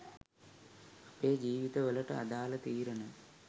අපේ ජීවිත වලට අදාල තීරණ